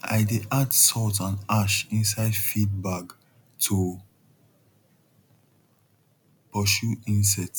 i dey add salt and ash inside feed bag to pursue insects